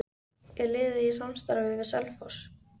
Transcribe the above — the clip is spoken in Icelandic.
Er liðið í samstarfi við Selfoss?